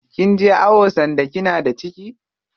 Kinje awo sanda kina da ciki?